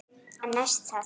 En næst það?